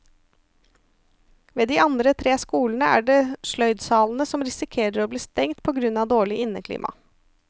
Ved de andre tre skolene er det sløydsalene som risikerer å bli stengt på grunn av dårlig inneklima.